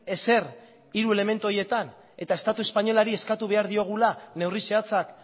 ezer hiru elementu horietan eta estatu espainolari eskatu behar diogula neurri zehatzak